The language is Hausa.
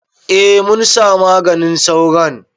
A munsa maganin sauron